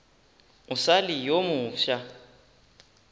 o sa le yo mofsa